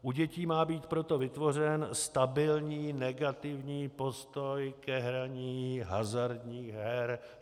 U dětí má být proto vytvořen stabilní negativní postoj ke hraní hazardních her.